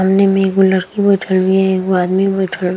सामने में एगो लड़की बईठल बिया एगो आदमी बईठल।